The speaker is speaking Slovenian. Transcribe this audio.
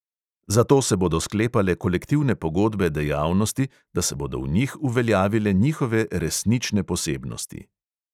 Zato se bodo sklepale kolektivne pogodbe dejavnosti, da se bodo v njih uveljavile njihove resnične posebnosti.